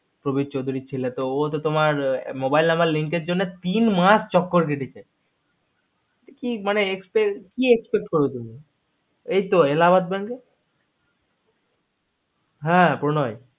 কোথায় কোন bank কে প্রণয়